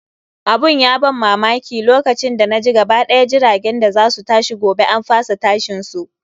Abun ya ban mamaki, lokacin da naji gaba ɗaya jiragen da za su tashi gobe an fasa tashin su.